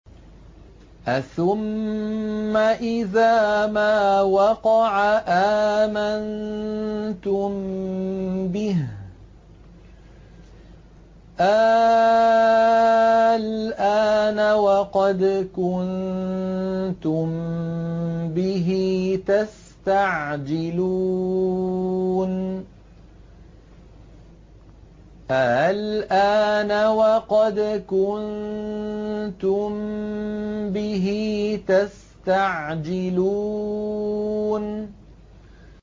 أَثُمَّ إِذَا مَا وَقَعَ آمَنتُم بِهِ ۚ آلْآنَ وَقَدْ كُنتُم بِهِ تَسْتَعْجِلُونَ